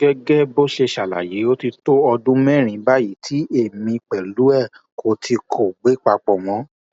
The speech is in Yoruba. gẹgẹ bó ṣe ṣàlàyé ó ti tó ọdún mẹrin báyìí tí èmi pẹlú ẹ kò tí kò gbé papọ mọ